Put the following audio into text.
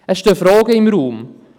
Es stehen Fragen im Raum: